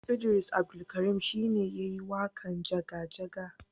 Idris Abdulkarim shi ne ya yi waƙan jaga jaga